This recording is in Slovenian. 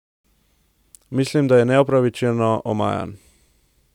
Mislim, da je neupravičeno omajan.